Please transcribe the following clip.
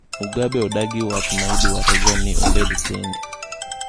Mugabe odagi waach ma idware go ni obed tenge